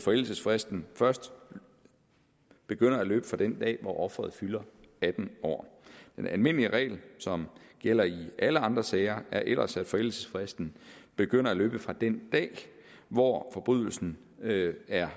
forældelsesfristen først begynder at løbe fra den dag hvor offeret fylder atten år den almindelige regel som gælder i alle andre sager er ellers at forældelsesfristen begynder at løbe fra den dag hvor forbrydelsen er